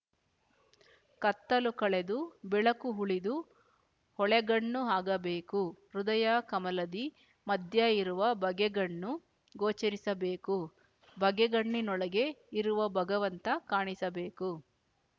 ಕತ್ತಲು ಕಳೆದು ಬೆಳಕು ಉಳಿದು ಹೊಳೆಗಣ್ಣು ಆಗಬೇಕು ಹೃದಯ ಕಮಲದಿ ಮಧ್ಯ ಇರುವ ಬಗೆಗಣ್ಣು ಗೋಚರಿಸಬೇಕು ಬಗೆಗಣ್ಣಿನೊಳಗೆ ಇರುವ ಭಗವಂತ ಕಾಣಿಸಬೇಕು